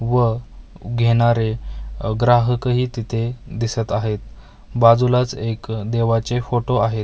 व घेणारे अ ग्राहकही तिथे दिसत आहेत बाजूलाच एक देवाचे फोटो आहेत .